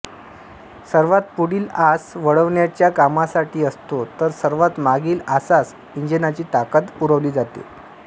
सर्वात पुढील आस वळवण्याच्या कामासाठी असतो तर सर्वात मागील आसास इंजिनाची ताकद पुरवली जाते